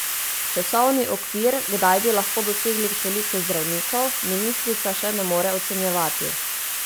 Časovni okvir, kdaj bi lahko dosegli toliko zdravnikov, ministrica še ne more ocenjevati.